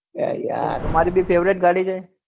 તમારી પણ favorite ગાડી છે.